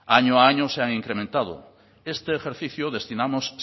año a año se han incrementado este ejercicio destinamos